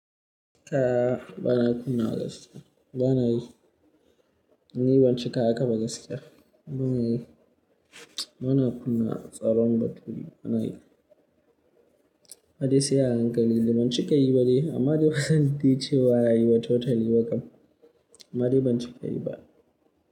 Aaa ba'a kunna gas. Bana yi, ni banci ka haka ba gaskiya bana yi, bana kunna tsaron nature. Bana yi, kai de sai a hankali ban cika yi ba dai amma ma kusani dai cewa rayuwa totaly wa kam. Amma de ban cika yi ba.